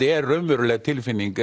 er raunveruleg tilfinning